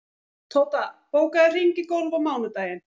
Tóta, bókaðu hring í golf á mánudaginn.